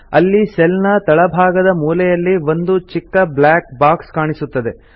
ಅಲ್ಲಿ ಸೆಲ್ ನ ತಳಭಾಗದ ಮೂಲೆಯಲ್ಲಿ ಓಂದು ಚಿಕ್ಕ ಬ್ಲಾಕ್ ಬಾಕ್ಸ್ ಕಾಣಿಸುತ್ತದೆ